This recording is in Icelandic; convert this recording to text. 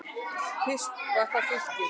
Fyrst var það Fylkir.